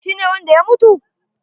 Shi ne wanda ya mutu?